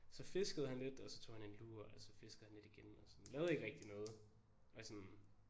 Så fiskede han lidt og så tog han en lur og så fiskede han lidt igen og sådan lavede ikke rigtig noget og sådan